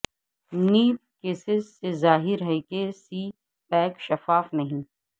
NAB cases سے ظاہر ہےکہ سی پیک شفاف نہیں